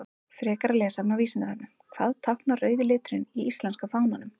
Frekara lesefni á Vísindavefnum: Hvað táknar rauði liturinn í íslenska fánanum?